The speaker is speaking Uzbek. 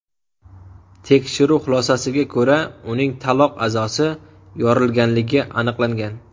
Tekshiruv xulosalariga ko‘ra, uning taloq a’zosi yorilganligi aniqlangan.